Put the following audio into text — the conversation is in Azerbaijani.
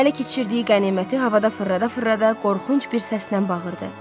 Ələ keçirdiyi qəniməti havada fırlada-fırlada qorxunc bir səslə bağırdı.